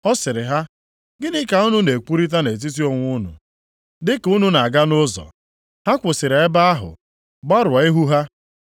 Ọ sịrị ha, “Gịnị ka unu na-ekwurịta nʼetiti onwe unu dị ka unu na-aga nʼụzọ.” Ha kwụsịrị ebe ahụ, gbarụọ ihu ha.